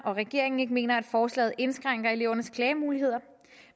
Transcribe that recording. regeringen ikke mener at forslaget indskrænker elevernes klagemuligheder